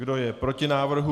Kdo je proti návrhu?